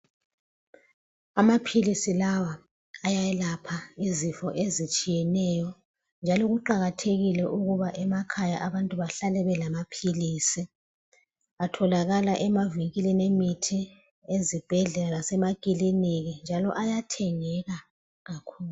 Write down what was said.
Amaphilisi lawa ayelapha izifo ezitshiyeneyo njalo kuqakathekile ukuba emakhaya abantu behlale belamaphilisi atholakala emavinkilini emithi ezibhedlela lasemakiliniki njalo ayathengeka kakhulu.